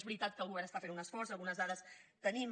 és veritat que el govern està fent un esforç i algunes dades tenim